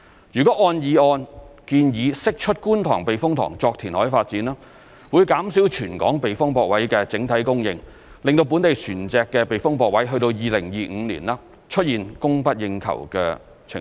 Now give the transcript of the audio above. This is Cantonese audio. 如按議案建議釋出觀塘避風塘作填海發展，會減少全港避風泊位的整體供應，令本地船隻的避風泊位在2025年出現供不應求的情況。